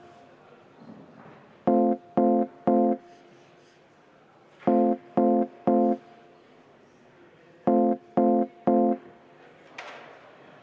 Palun võtta seisukoht ja hääletada!